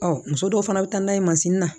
muso dɔw fana bɛ taa n'a ye na